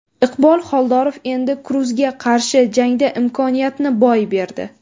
Iqbol Xoldorov Endi Kruzga qarshi jangda imkoniyatni boy berdi.